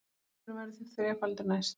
Potturinn verður því þrefaldur næst